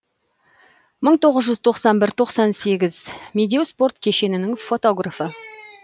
мың тоғыз жүз тоқсан бір тоқсан сегіз медеу спорт кешенінің фотографы